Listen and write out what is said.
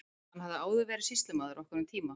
Hann hafði áður verið sýslumaður okkar um tíma.